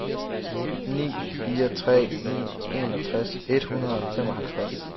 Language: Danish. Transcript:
ni fire tre ni enogtres et hundrede og femoghalvtreds